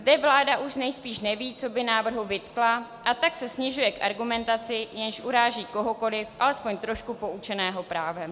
Zde vláda už nejspíš neví, co by návrhu vytkla, a tak se snižuje k argumentaci, jež uráží kohokoliv alespoň trošku poučeného právem.